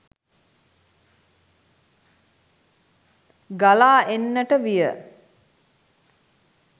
ගලා එන්නට විය.